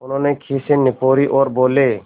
उन्होंने खीसें निपोरीं और बोले